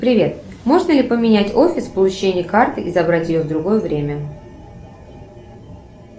привет можно ли поменять офис получения карты и забрать ее в другое время